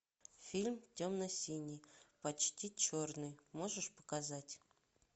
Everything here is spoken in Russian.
фильм темно синий почти черный можешь показать